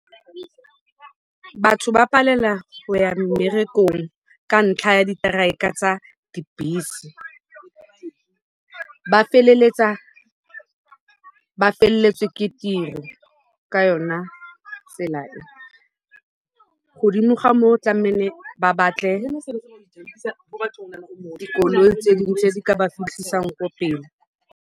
Batho ba palela go ya mmerekong ka ntlha ya ditraeka tsa dibese. Ba feleletsa ba felletswe ke tiro ka yona tsela e. Godimo ga moo tlamehile ba batle dikoloi tse ding tse di ka ba fitlhisang ko pele.